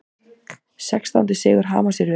Sextándi sigur Hamars í röð